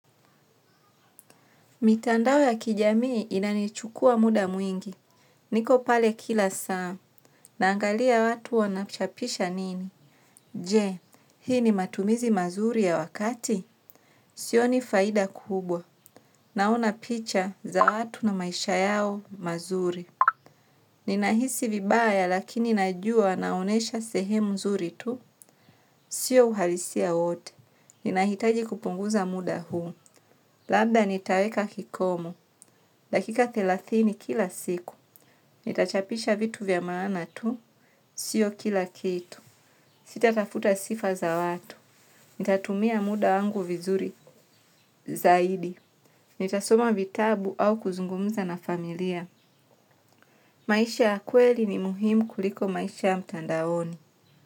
Mitandao ya kijamii inani chukua muda mwingi. Niko pale kila saa. Naangalia watu wanachapisha nini. Je? Hii ni matumizi mazuri ya wakati? Sioni faida kubwa. Naona picha za watu na maisha yao mazuri. Ninahisi vibaya lakini najua naonesha sehemu mzuri tu? Sio uhalisia wote. Nina hitaji kupunguza muda huu. Labda nitaweka kikomo. Dakika thelathini kila siku, nitachapisha vitu vya maana tu, sio kila kitu, sita tafuta sifa za watu, nitatumia muda wangu vizuri, zaidi, nitasoma vitabu au kuzungumza na familia, maisha ya kweli ni muhimu kuliko maisha ya mtandaioni.